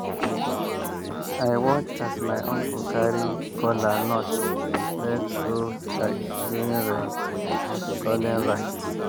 i watch as my uncle carry kola nut raise go sky during rain-calling rite.